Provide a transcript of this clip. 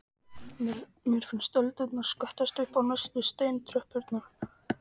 Mér finnst öldurnar skvettast upp á neðstu steintröppurnar.